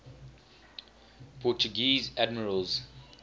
portuguese admirals